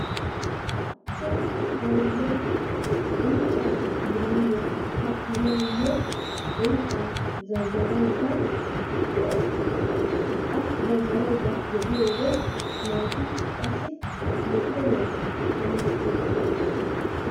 Cimma aayiya unccaa bilandduwa kattanaayo unccaa zazzarayda de'awusu. A zazzarayda de'iyode naati qassi lokkomaa tamman wottiddosona.